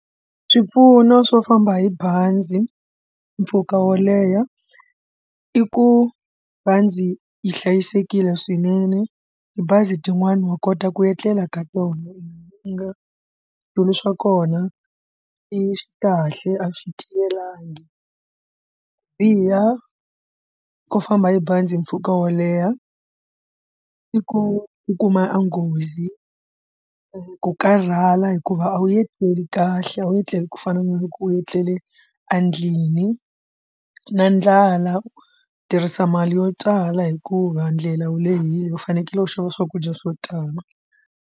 Swipfuno swo famba hi bazi mpfhuka wo leha i ku va ndzi hlayisekile swinene tibazi tin'wani wa kota ku etlela ka tona i nga switulu swa kona i kahle a swi tiyelangi ku biha ko famba hi bazi hi mpfhuka wo leha i ku u kuma nghozi ku karhala hikuva a wu etleli kahle a wu etlela ku fana na loko u tlele andlwini na ndlala u tirhisa mali yo tala hikuva ndlela wu lehile u fanekele u xava swakudya swo tala.